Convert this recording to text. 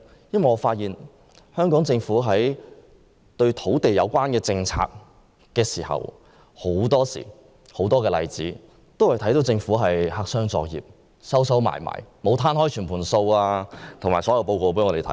因為我們看到，香港政府在實施多項與土地有關的政策時都是黑箱作業，沒有把所有相關數字和報告公開。